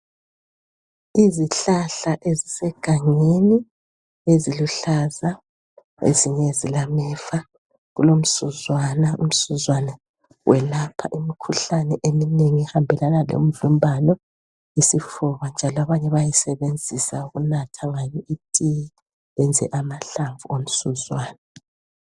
Izihlahla ezisegangeni eziluhlaza ezinye zilameva .Kulomsuzwane ,umsuzwane welapha imkhuhlane eminengi ehambelana lemvimbano isifuba. Njalo abanye bayawusenzisa ukunatha ngawo itiye benze amahlamvu ngomsuzwane .